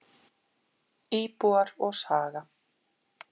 Íbúar og saga.